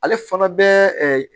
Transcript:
Ale fana bɛ